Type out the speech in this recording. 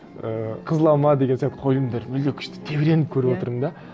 ііі қызыл алма деген сияқты қойылымдар мүлде күшті тебіреніп көріп отырдым да